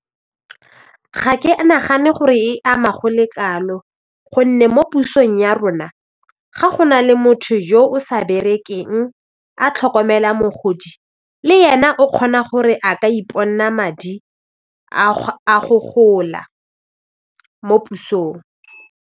Ga ke nagane gore e ama go le kalo gonne mo pusong ya rona ga go na le motho yo o sa berekelang a tlhokomela mogodi le yena o kgona gore a ka madi a go gola mo pusong.